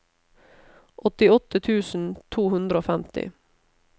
åttiåtte tusen to hundre og femti